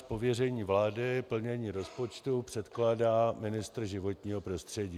Z pověření vlády plnění rozpočtu předkládá ministr životního prostředí.